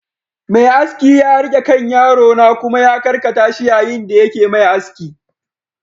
Mai aski ya riƙe kan yaro na kuma ya karkata shi yayin da yake Mai aski